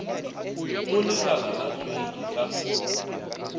go lekala la hlweki ka